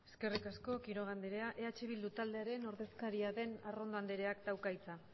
eskerrik asko quiroga anderea eh bildu taldearen ordezkaria den arrondo andereak dauka hitza